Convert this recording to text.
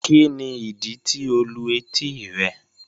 Kíni idí tí o lù etí rẹ̀?